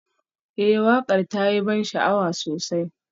Ee waƙar ta yi ban sha'awa sosai